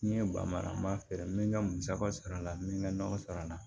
N'i ye ba mara n b'a feere n bɛ n ka musaka sɔrɔ a la n bɛ n ka nɔnɔ sɔrɔ a la